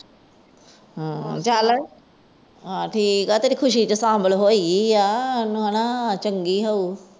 ਚੱਲ ਠੀਕ ਆ, ਤੇਰੀ ਖੁਸ਼ੀ ਚ ਸ਼ਾਮਿਲ ਹੋਈ ਏ ਚੰਗੀ ਏ ਫਿਰ।